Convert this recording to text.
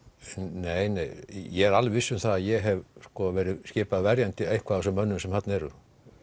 nei nei ég er alveg viss um það að ég hef verið skipaður verjandi einhvers af þessum mönnum sem þarna eru